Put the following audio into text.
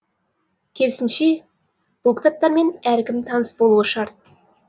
керісінше бұл кітаптармен әркім таныс болуы шарт